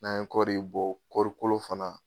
N'an ye kɔri bɔ kɔrikolo fana